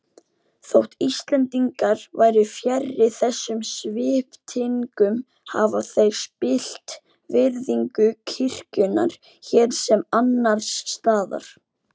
Þótt Íslendingar væru fjarri þessum sviptingum hafa þær spillt virðingu kirkjunnar hér sem annars staðar.